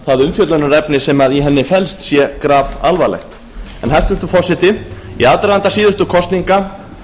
það umfjöllunarefni sem í henni felst sé grafalvarlegt hæstvirtur forseti í aðdraganda síðustu kosninga